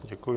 Děkuji.